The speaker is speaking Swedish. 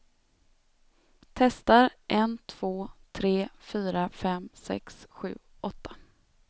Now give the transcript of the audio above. Testar en två tre fyra fem sex sju åtta.